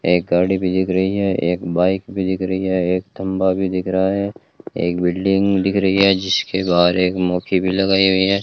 एक गाड़ी भी दिख रही है एक बाइक भी दिख रही है एक खंभा भी दिख रहा है एक बिल्डिंग दिख रही है जिसके बाहर एक मोखी भी लगाई हुई है।